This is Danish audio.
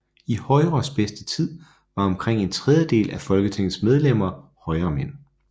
I Højres bedste tid var omkring en tredjedel af Folketingets medlemmer højremænd